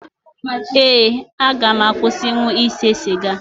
Ee, aga m akwụsịnwu ịse siga